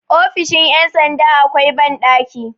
ofisn ' yamsanda akwai banɗaki